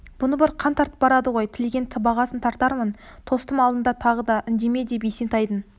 бұны бір қан тартып барады ғой тілеген сыбағасын тартармын тостым алдын тағы да үндеме деп есентайдың